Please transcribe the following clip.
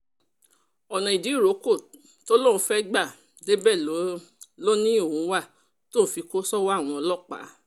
ọ̀nà ìdíròkọ tó lóun fẹ́ẹ́ gbà débẹ̀ ló ní òun wà tóun fi kó sọ́wọ́ àwọn ọlọ́pàá